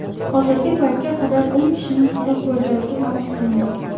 Hozirgi paytga qadar o‘n kishining halok bo‘lganligi ma’lum qilingan.